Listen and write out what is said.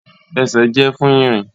Ẹsẹ jẹ fun irin.